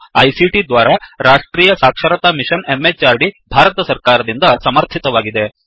ಇದು ಐಸಿಟಿ ದ್ವಾರಾ ರಾಷ್ಟ್ರೀಯ ಸಾಕ್ಷರತಾ ಮಿಶನ್ ಎಂಎಚಆರ್ಡಿ ಭಾರತ ಸರ್ಕಾರದಿಂದ ಸಮರ್ಥಿತವಾಗಿದೆ